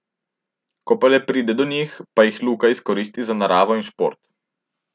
Ko pa le pride do njih, pa jih Luka izkoristi za naravo in šport.